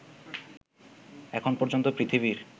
এখন পর্যন্ত পৃথিবীর